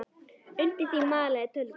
Undir því malaði tölvan.